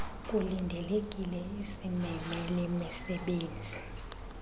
kulindelekile isbebe lemisebenzi